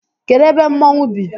Kedụ ebe mmonwu bi?